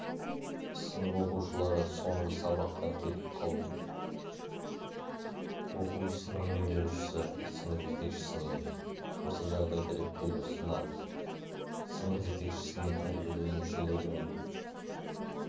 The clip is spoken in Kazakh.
сынып оқушылары соңғы сабақтан кетіп қалді оқу ісінің меңгерушісі сынып жетекшісініе осы жағдайды реттеуді ұсынады сынып жетекшісінің тәрбиеленушілермен